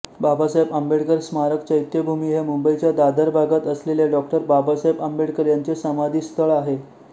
बाबासाहेब आंबेडकर स्मारक चैत्यभूमी हे मुंबईच्या दादर भागात असलेले डॉ बाबासाहेब आंबेडकर यांचे समाधिस्थळ आहे